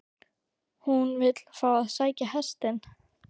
HÚN vill fá að sækja hestinn.